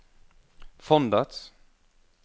fondets